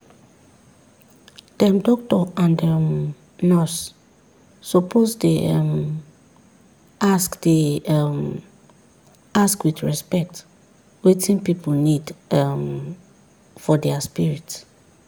dem doctor and um nurse suppose dey um ask dey um ask with respect wetin pipu need um for dia spirit.